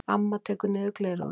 Amma tekur niður gleraugun.